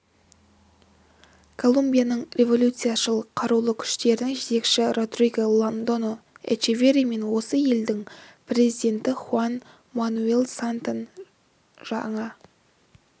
колумбияның революцияшыл қарулы күштерінің жетекшісі родриго лондоньо эчеверри мен осы елдің президенті хуан мануэль сантос жаңа